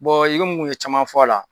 Bɔn i komun n kun ye caman fɔ a la